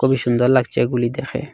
খুবই সুন্দর লাগছে এগুলি দেখে।